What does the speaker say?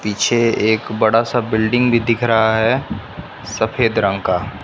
पीछे एक बड़ा सा बिल्डिंग भी दिख रहा है सफेद रंग का।